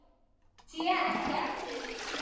Ég sé ekki eftir því.